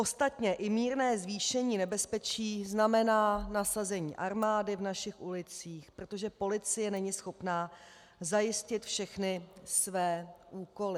Ostatně i mírné zvýšení nebezpečí znamená nasazení armády v našich ulicích, protože policie není schopná zajistit všechny své úkoly.